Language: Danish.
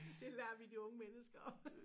Det lader vi de unge mennesker